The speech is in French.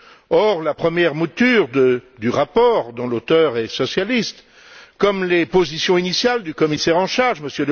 Or, la première mouture du rapport, dont l'auteur est socialiste, comme les positions initiales du commissaire en charge, M.